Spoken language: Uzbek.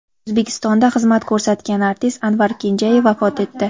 O‘zbekistonda xizmat ko‘rsatgan artist Anvar Kenjayev vafot etdi.